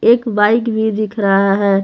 एक बाइक भी दिख रहा है।